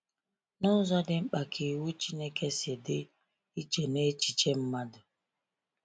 N’ụzọ dị mkpa ka iwu Chineke si dị iche na echiche mmadụ?